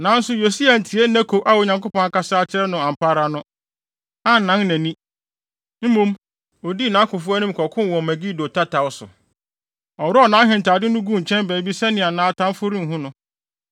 Nanso Yosia antie Neko a Onyankopɔn akasa akyerɛ no ampa ara no, annan nʼani. Mmom, odii nʼakofo anim kɔkoo wɔ Megido tataw so. Ɔworɔw nʼahentade no guu nkyɛn baabi sɛnea atamfo no renhu no.